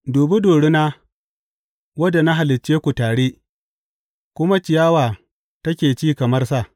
Dubi dorina, wadda na halicce ku tare kuma ciyawa take ci kamar sa.